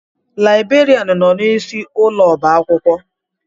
Laibrerianụ nọ n'isi ụlọ ọba akwụkwọ.